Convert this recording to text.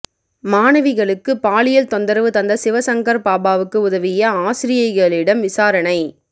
மாணவிகளுக்கு பாலியல் தொந்தரவு தந்த சிவசங்கர் பாபாவுக்கு உதவிய ஆசிரியைகளிடம் விசாரணை